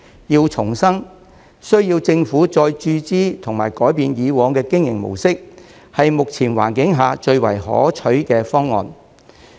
要重生，需要政府再注資及改變以往的經營模式，是目前環境下最為可取的方案。